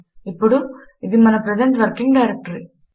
ఇప్పుడు ఇది మన ప్రజెంట్ వర్కింగ్ డైరెక్టరీ